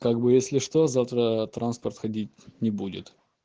так бы если что завтра транспорт ходить не будет